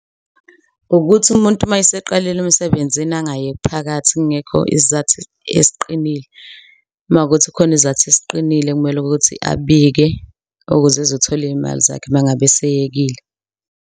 Ukuthi umuntu uma eseqalile emsebenzini angayeki phakathi kungekho isizathu esiqinile, uma kuwukuthi khona izizathu esiqinile kumele ukuthi abike ukuze ezothola iyimali zakhe uma ngabe eseyekile.